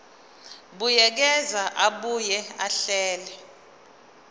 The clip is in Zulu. buyekeza abuye ahlele